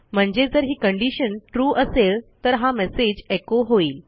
म्हणजे जर ही कंडिशन ट्रू असेल तर हा मेसेज एको होईल